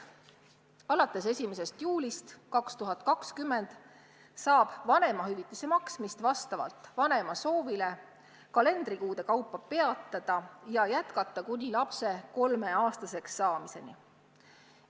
Alates 1. juulist 2020 saab vanemahüvitise maksmist vastavalt vanema soovile kalendrikuude kaupa peatada ja jätkata kuni lapse 3-aastaseks saamiseni.